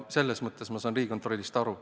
Selles mõttes ma saan Riigikontrollist aru.